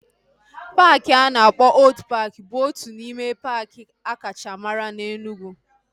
Paaki a na-akpọ Old paaki bụ otu n'ime paaki akacha mara na Enugwu